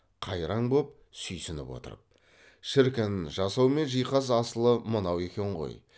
қайраң боп сүйсініп отырып шіркін жасау мен жиһаз асылы мынау екен ғой